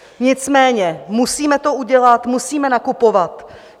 Nicméně musíme to udělat, musíme nakupovat.